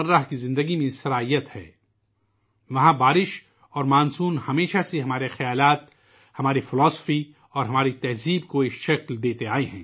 اس کے ساتھ ساتھ، بارشوں اور مانسون نے ہمارے افکار، ہمارے فلسفے اور ہماری تہذیب کو سنوارا ہے